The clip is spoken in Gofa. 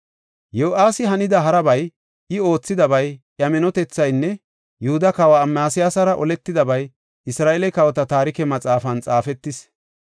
Yo7aasi hanida harabay, I oothidabay, iya minotethaynne Yihuda kawa Amasiyasara oletidabay Isra7eele kawota Taarike Maxaafan xaafetis.